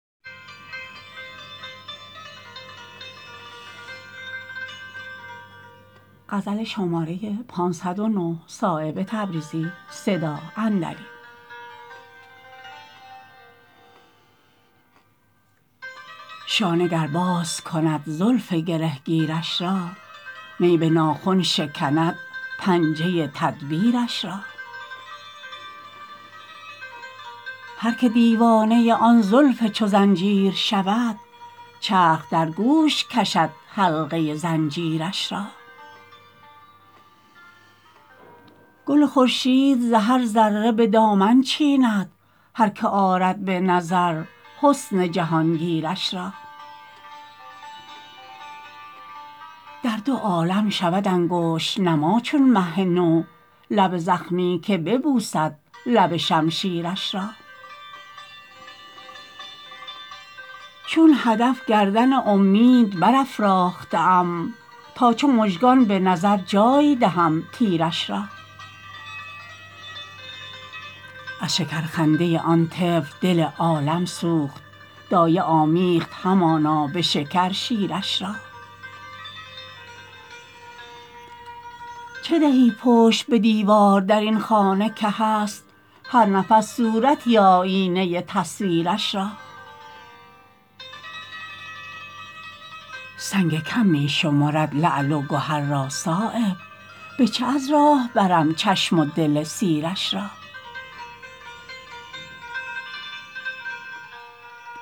شانه گر باز کند زلف گرهگیرش را نی به ناخن شکند پنجه تدبیرش را هر که دیوانه آن زلف چو زنجیر شود چرخ در گوش کشد حلقه زنجیرش را گل خورشید ز هر ذره به دامن چیند هر که آرد به نظر حسن جهانگیرش را در دو عالم شود انگشت نما چون مه نو لب زخمی که ببوسد لب شمشیرش را چون هدف گردن امید برافراخته ام تا چو مژگان به نظر جای دهم تیرش را از شکر خنده آن طفل دل عالم سوخت دایه آمیخت همانا به شکر شیرش را چه دهی پشت به دیوار درین خانه که هست هر نفس صورتی آیینه تصویرش را سنگ کم می شمرد لعل و گهر را صایب به چه از راه برم چشم و دل سیرش را